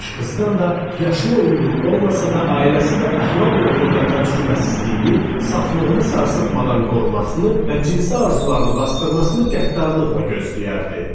Qızdan da yaşına uyğun olmasa da, ailəsi və əxlaq uğrunda təcrübəsizliyini, saflığını sarsıtmadan qorumasını və cinsi arzularını basdırmasını qəddarlıqla gözləyərdi.